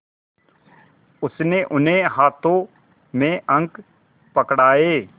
उसने उन्हें हाथों में अंक पकड़ाए